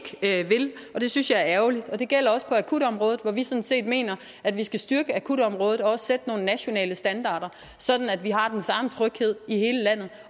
vil og det synes jeg er ærgerligt det gælder også på akutområdet hvor vi sådan set mener at vi skal styrke akutområdet og også sætte nogle nationale standarder sådan at vi har den samme tryghed i hele landet